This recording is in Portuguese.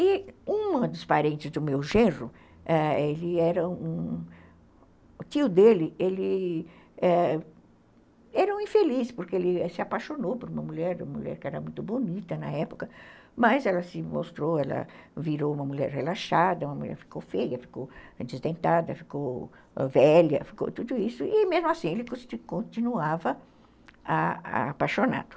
E um dos parentes do meu genro, o tio dele era um infeliz, porque ele se apaixonou por uma mulher, uma mulher que era muito bonita na época, mas ela se mostrou, ela virou uma mulher relaxada, uma mulher ficou feia, ficou desdentada, ficou velha, ficou tudo isso, e mesmo assim ele continuava a a apaixonado.